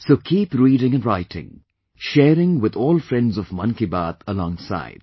So keep reading & writing; sharing with all friends of Mann Ki Baat alongside